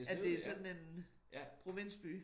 At det sådan en provinsby